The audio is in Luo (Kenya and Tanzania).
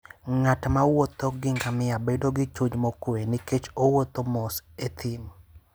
Ng'at mowuotho gi ngamia bedo gi chuny mokuwe nikech owuotho mos e thim.